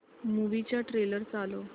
movie चा trailer चालव